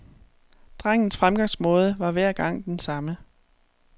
Drengens fremgangsmåde var hver gang den samme.